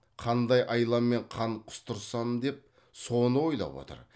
қандай айламен қан құстырсам деп соны ойлап отыр